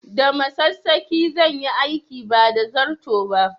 Da masassaƙi zan yi aikin ba da zarto ba